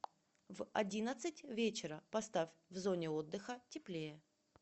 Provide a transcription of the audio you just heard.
в одиннадцать вечера поставь в зоне отдыха теплее